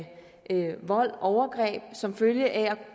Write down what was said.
vold overgreb som følge af at